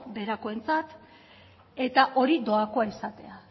beherakoentzat eta hori doakoa izatea